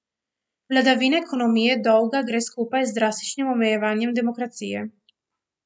Vladavina ekonomije dolga gre skupaj z drastičnim omejevanjem demokracije.